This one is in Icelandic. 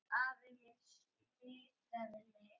Afi minn smitaði mig.